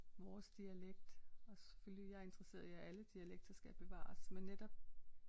Vores dialekt og selvfølgelig jeg er interesseret i at alle dialekter skal bevares men netop